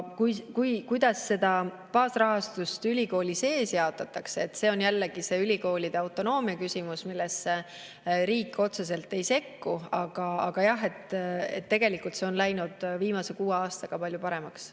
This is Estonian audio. Kuidas seda baasrahastust ülikooli sees jaotatakse, see on jällegi ülikoolide autonoomia küsimus, millesse riik otseselt ei sekku, aga jah, et tegelikult see on läinud viimase kuue aastaga palju paremaks.